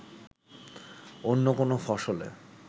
অন্য কোনো ফসলে